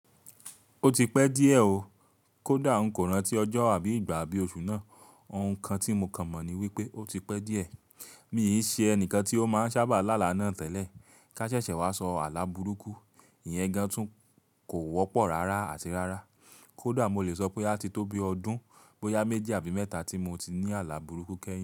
Ó ti pẹ́ díẹ̀ ó, kó dà n kò rántí ọjọ́ àbí ìgbà abí oṣù náà, òun kan tí mo kàn mọ̀ ní wípé ó ti pẹ́ díẹ̀. Mi yìí ṣe ẹnìkan tí ó máa ń sábà lálà náà tẹ́lẹ̀, ká ṣẹ̀ṣẹ̀ wá sọ àlà burúkú, ìyẹn gan tún kò wọ́pọ̀ rárá àti rárá. Kó dà mo lè sọ pé á ti tó bí ọdún, bóyá méjì àbí mẹ́ta tí mo ti ní àlà burúkú kẹ́yìn.